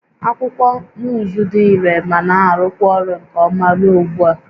Akwụkwọ nuuzu dị irè ma na-arụkwa ọrụ nke ọma ruo ugbu a